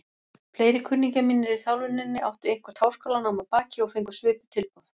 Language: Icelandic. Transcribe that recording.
Fleiri kunningjar mínir í þjálfuninni áttu eitthvert háskólanám að baki og fengu svipuð tilboð.